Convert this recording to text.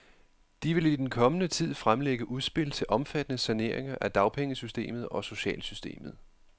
De vil i den kommende tid fremlægge udspil til omfattende saneringer af dagpengesystemet og socialsystemet.